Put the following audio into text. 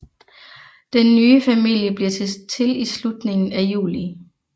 Den nye familie bliver til i slutningen af juli